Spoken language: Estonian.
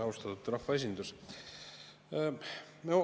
Austatud rahvaesindus!